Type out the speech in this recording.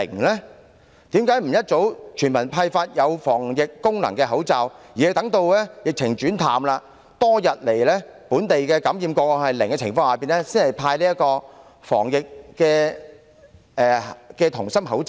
為甚麼不及早全民派發具有防疫功能的口罩，要待疫情轉趨緩和，本地感染個案多日維持為零宗的情況下，才派發"銅芯抗疫口罩"？